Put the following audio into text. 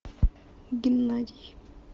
геннадий